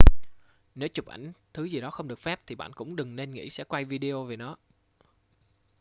nếu chụp ảnh thứ gì đó không được phép thì bạn cũng đừng nên nghĩ sẽ quay video về nó